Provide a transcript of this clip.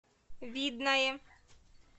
видное